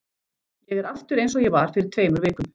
Ég er aftur einsog ég var fyrir tveimur vikum.